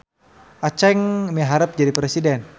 Aceng miharep jadi presiden